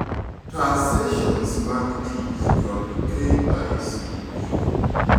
Taa sessions mag tich kod KICD